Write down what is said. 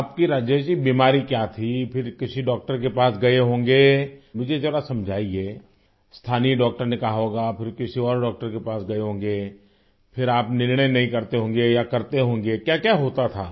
راجیش جی آپ کو کیا بیماری تھی؟ پھر کسی ڈاکٹر کے پاس گئے ہوں گے، مجھے ذرا سمجھایئے، مقامی ڈاکٹر نے کہا ہو گا، پھر کسی اور ڈاکٹر کے پاس گئے ہوں گے؟ پھر آپ فیصلہ نہیں کرتے ہوں گے یا کرتے ہوں گے ،کیا کیا ہوتا تھا؟